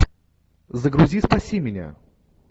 загрузи спаси меня